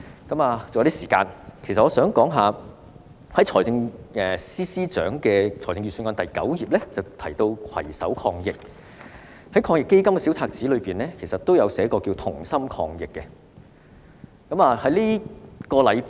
還有一些時間，我想說說，財政司司長的預算案第9頁提到"攜手抗疫"，防疫抗疫基金小冊子也提及"同心抗疫"。